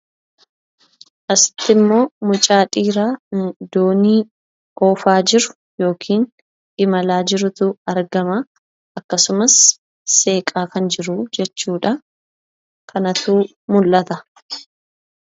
Asitti immoo mucaa dhiiraa doonii oofaa jiru yookiin imalaa jirutu argama. akkasumas seeqaa kan jiru jechuudha. Kanatu mul'ata.